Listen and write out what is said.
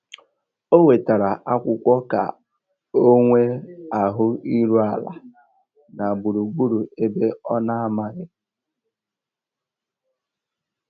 Ó wètárá ákwụ́kwọ́ kà ọ́ nwée áhụ̀ írú àlà nà gbúrúgbúrú ébé ọ́ nà-àmághị́.